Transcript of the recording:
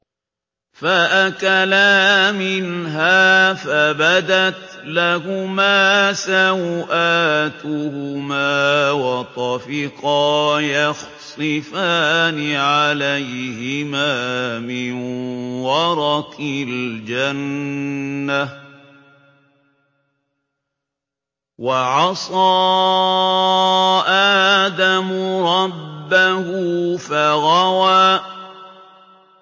فَأَكَلَا مِنْهَا فَبَدَتْ لَهُمَا سَوْآتُهُمَا وَطَفِقَا يَخْصِفَانِ عَلَيْهِمَا مِن وَرَقِ الْجَنَّةِ ۚ وَعَصَىٰ آدَمُ رَبَّهُ فَغَوَىٰ